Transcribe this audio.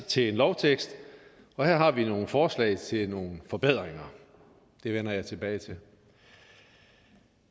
til en lovtekst og her har vi nogle forslag til nogle forbedringer det vender jeg tilbage til